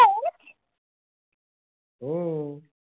हो.